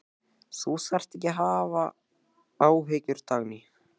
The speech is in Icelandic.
Þú þarft ekki að hafa áhyggjur, Dagný.